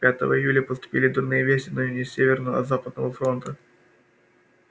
пятого июля поступили дурные вести но не с северного а с западного фронта